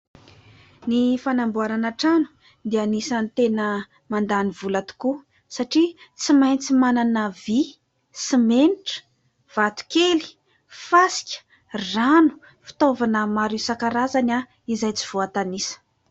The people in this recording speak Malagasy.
Ny fanamboarana trano dia isan'ny tena mandàny vola tokoa satria tsy maintsy manana vy, simenitra, vato kely, fasika, rano, fitaovana maro isan-karazany izay tsy voatanisa.